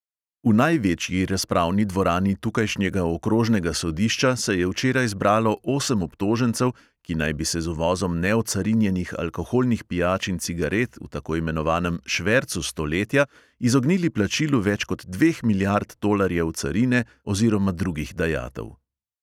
V največji razpravni dvorani tukajšnjega okrožnega sodišča se je včeraj zbralo osem obtožencev, ki naj bi se z uvozom neocarinjenih alkoholnih pijač in cigaret v tako imenovanem "švercu stoletja" izognili plačilu več kot dveh milijard tolarjev carine oziroma drugih dajatev.